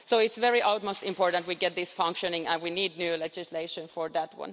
So it's of the utmost importance that we get this functioning, and we need new legislation for that.